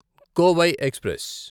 Kovai express